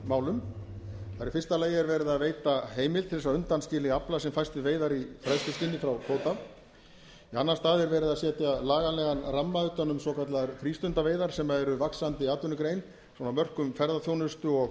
málum það er í fyrsta lagi verið að veita heimild til þess að undanskilja afla sem fæst við veiðar í fræðsluskyni frá kvóta í annan stað er verið að setja lagalegan ramma utan um svokallaðar frístundaveiðar sem er vaxandi atvinnugrein svona á mörkum ferðaþjónustu og